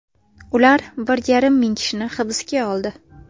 Ular bir yarim ming kishini hibsga oldi.